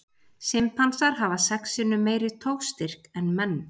Simpansar hafa sex sinnum meiri togstyrk en menn.